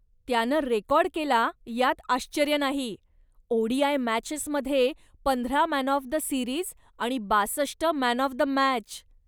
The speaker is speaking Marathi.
त्यानं रेकाॅर्ड केला यात आश्चर्य नाही, ओडीआय मॅचेसमध्ये पंधरा मॅन ऑफ द सीरिज आणि बासष्ट मॅन ऑफ द मॅच.